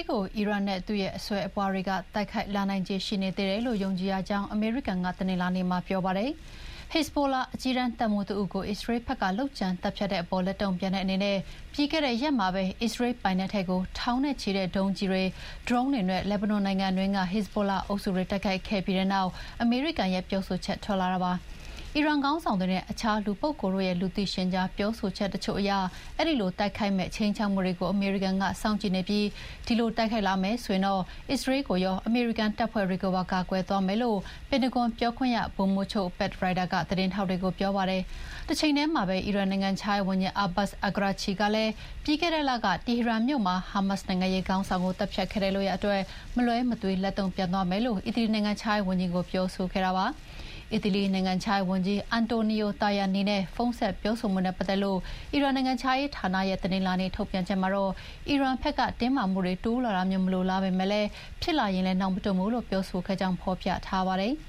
်ကို အီရန်နဲ့သူ့အစွယ်အပွားတွေ တိုက်ခိုက်လာနိုင်ခြေရှိနေသေးတယ်လို့ ယုံကြည်ရကြောင်း အမေရိကန်က တနင်္လာနေ့မှာပြောပါတယ်။ ဟက်ဇ်ဘိုလာ အကြီးတန်းတပ်မှူးတဦးကို အစ္စရေးဘက်က လုပ်ကြံသတ်ဖြတ်တဲ့အပေါ် လက်တုံ့ပြန်တဲ့အနေနဲ့ ပြီးခဲ့တဲ့ရက်မှာပဲ အစ္စရေးလ်ပိုက်နက်ထဲကို ထောင်နဲ့ချီတဲ့ဒုံးကျည်တွေ၊ ဒရုန်းတွေနဲ့ လက်ဘနွန်နိုင်ငံအတွင်းက ဟက်ဇ်ဘိုလာအုပ်စုတွေတိုက်ခိုက်ခဲ့ပြီးတဲ့နောက် အမေရိကန်ရဲ့ ပြောဆိုချက်ထွက်လာတာပါ။ အီရန်ခေါင်းဆောင်တွေနဲ့ အခြားလူပုဂ္ဂိုလ်တို့ရဲ့ လူသိရှင်ကြားပြောဆိုချက်တချို့အရ အဲဒီလို တိုက်ခိုက်မယ့် ခြိမ်းခြောက်မှုတွေကို အမေရိကန်က စောင့်ကြည့်နေပြီး အဲဒီလိုတိုက်ခိုက်လာမယ်ဆိုရင် အစ္စရေးလ်ကိုရော အမေရိကန်တပ်ဖွဲ့တွေကိုပါ ကာကွယ်သွားမယ်လို့ ပင်တဂွန်ပြောခွင့်ရ ဗိုလ်မှူးချုပ် Pat Ryder က သတင်းထောက်တွေကိုပြောပါတယ်။ တချိန်တည်းမှာပဲ အီရန်နိုင်ငံခြားရေးဝန်ကြီး Abbas Araghchi ကလည်း ပြီးခဲ့တဲ့လကတီဟီရန်မြို့မှာ ဟာမတ်စ် နိုင်ငံရေးခေါင်းဆောင်ကိုသတ်ဖြတ်ခဲ့တဲ့လုပ်ရပ်အတွက် မလွဲမသွေ လက်တုံ့ပြန်သွားမယ်လို့ အီတလီ နိုင်ငံခြားရေးဝန်ကြီးကို ပြောခဲ့ပါတယ်။အီတလီနိုင်ငံခြားရေးဝန်ကြီး အန်တိုနီယို တာယာနီနဲ့ ဖုန်းဆက်ပြောဆိုမှုနဲ့ ပတ်သက်လို့ အီရန်နိုင်ငံခြားရေးဌာနရဲ့ တနင်္လာနေ့ထုတ်ပြန်ချက်မှာတော့ အီရန်ဘက်က တင်းမာမှုတွေ တိုးလာတာမျိုးမလိုလားပေမယ့် ဖြစ်လာရင်လည်းနောက်မတွန့်ဘူးလို့ ပြောဆိုခဲ့ကြောင်း ဖော်ပြထားပါတယ်။